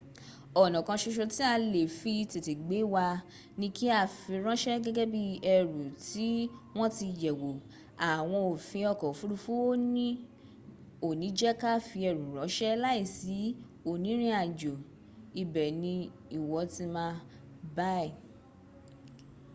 ona kan soso ti a le fi tete gbe wa ni ki a firanse gege bii eru ti won ti yewo awon ofin oko ofurufu o ni je ka fi eru ranse lai si onirinajo ibe ni iwo ti ma buy